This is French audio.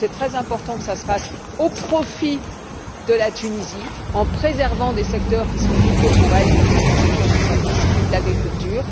C'est très important que cela se fasse au profit de la Tunisie, en préservant des secteurs qui sont vitaux pour elle, comme certains secteurs des services ou de l'agriculture.